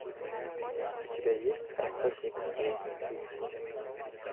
у тебя есть охотник с уолл стрит